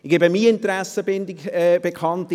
Ich gebe meine Interessenbindung bekannt: